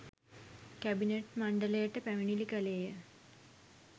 Cabinet මණ්ඩලයට පැමිණිලි කළේය.